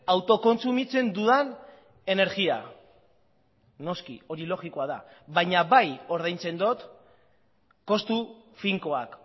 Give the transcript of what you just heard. autokontsumitzen dudan energia noski hori logikoa da baina bai ordaintzen dut kostu finkoak